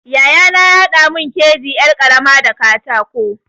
Yayana ya haɗa mun keji yar ƙarama da katako.